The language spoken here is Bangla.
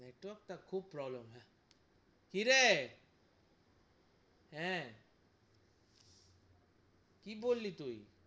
Network টা খুব problem হে কিরে হে কি বললি তুই?